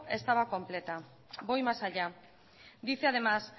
estaba completa voy más allá dice además